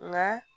Nka